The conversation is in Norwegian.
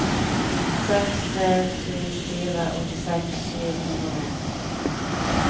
seks tre sju fire åttiseks sju hundre og en